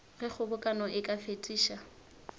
ge kgobokano e ka fetiša